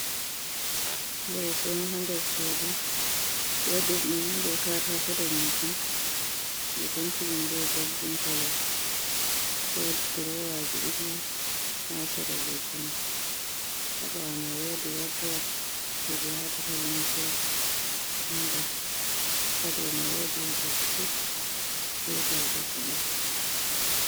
Leso ɗo ha nder suɗu. be waɗirɗum be katako danejun. Be pentiɗum be golɗin kolo. woɗi durowaji ɗiɗi ha sera leso mai. Habawomai wodi woldurof je be watata limse ha nder. Ha ɗaw mai woɗi beɗshit be borgo ɗiɗi.